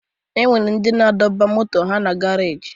O nwere ndị na-adọba moto ha na garaajị